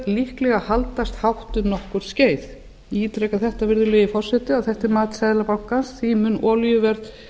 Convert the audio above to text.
líklega haldast hátt um nokkurt skeið ég ítreka þetta virðulegi forseti að þetta er mat seðlabanka því mun olíuverð